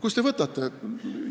Kust te selle võtate?